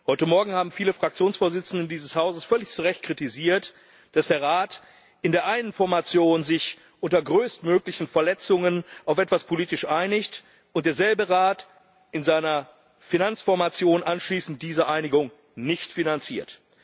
Heute Morgen haben viele Fraktionsvorsitzende dieses Hauses völlig zu Recht kritisiert, dass der Rat in der einen Formation sich unter größtmöglichen Verletzungen auf etwas politisch einigt und derselbe Rat in seiner Finanzformation anschließend diese Einigung nicht finanziert.